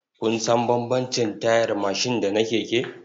Kun san bambamcin tayar mashin da na keke?